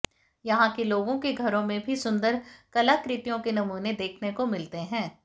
यहां के लोगों के घरों में भी सुंदर कलाकृतियों के नमूने देखने को मिलते हैं